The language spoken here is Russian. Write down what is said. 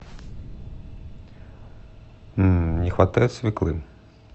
не хватает свеклы